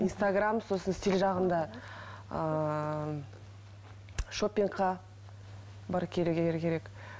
инстаграм сосын стиль жағында ыыы шопингқа